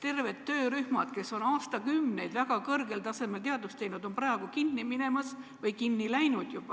terved töörühmad, kes on aastakümneid väga kõrgel tasemel teadust teinud, on praegu tegevust lõpetamas või juba lõpetanud.